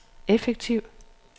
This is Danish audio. effektiv